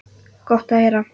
Gott að heyra.